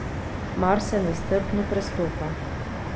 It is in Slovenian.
Mars se nestrpno prestopa.